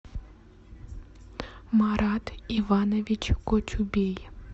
марат иванович кочубей